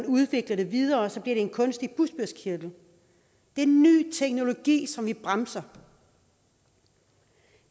udvikles videre bliver det en kunstig bugspytkirtel det er ny teknologi som vi bremser